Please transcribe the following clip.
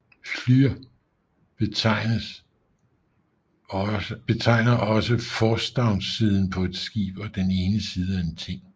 Hlȳr betegner også forstavnssiden på et skib og den ene side af en ting